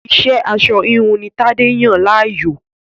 Iṣẹ́ aṣọ-híhun ni Tadé yàn láàyò.